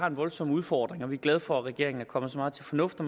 en voldsom udfordring og vi er glade for at regeringen er kommet så meget til fornuft at